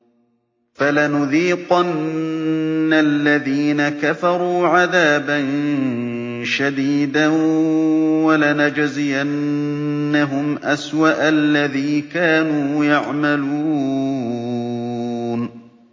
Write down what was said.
فَلَنُذِيقَنَّ الَّذِينَ كَفَرُوا عَذَابًا شَدِيدًا وَلَنَجْزِيَنَّهُمْ أَسْوَأَ الَّذِي كَانُوا يَعْمَلُونَ